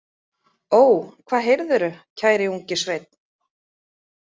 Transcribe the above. Ó, hvað heyrðirðu, kæri ungi sveinn?